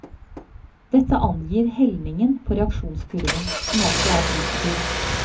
Dette angir helningen på reaksjonskurven, som altså er positiv.